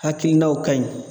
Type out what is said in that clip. Hakilinaw ka ɲi